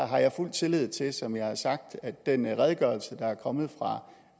har jeg fuld tillid til som jeg har sagt at den redegørelse der er kommet fra